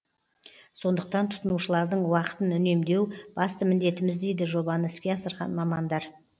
сондықтан тұтынушылардың уақытын үнемдеу басты міндетіміз дейді жобаны іске асырған мамандар